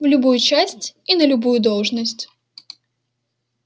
в любую часть и на любую должность